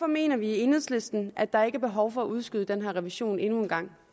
mener vi i enhedslisten at der ikke er behov for at udskyde den her revision endnu en gang